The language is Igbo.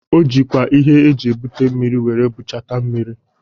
O jikwa ihe eji ebute mmiri were butacha mmiri